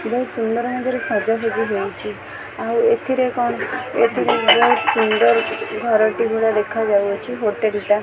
ବୋହୁତ ସୁନ୍ଦର ମଝିରେ ସଜା ସଜି ହେଇଚି ଆଉ ଏଥିରେ କ'ଣ ଏଥିରେ ବୋହୁତ ସୁନ୍ଦର ଘରଟି ଭଳିଆ ଦେଖାଯାଉଅଛି ହୋଟେଲ୍ ଟା।